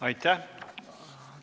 Aitäh!